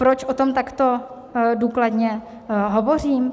Proč o tom takto důkladně hovořím?